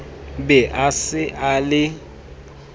be a se a le